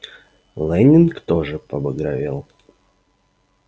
лэннинг тоже побагровел